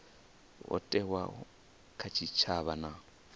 ho thewaho kha tshitshavha na